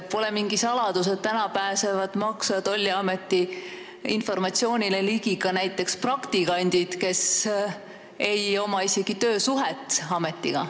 Pole mingi saladus, et täna pääsevad Maksu- ja Tolliameti informatsioonile ligi näiteks ka praktikandid, kes ametiga töösuhtes ei ole.